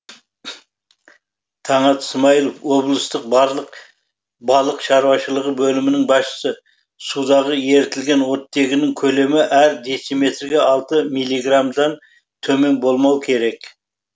таңат смайылов облыстық балық шаруашылығы бөлімінің басшысы судағы ерітілген оттегінің көлемі әр дециметрге алты милиграмнан төмен болмау керек